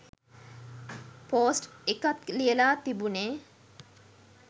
Post එකක් ලියලා තිබුණේ?